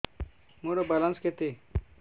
ମୋର ବାଲାନ୍ସ କେତେ